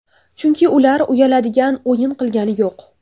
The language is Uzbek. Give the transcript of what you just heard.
Chunki ular uyaladigan o‘yin qilgani yo‘q.